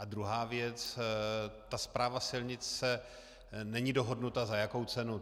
A druhá věc, ta správa silnic není dohodnuta, za jakou cenu.